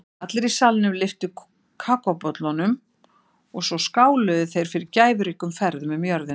Allir í salnum lyftu kakóbollunum og svo skáluðu þeir fyrir gæfuríkum ferðum um jörðina.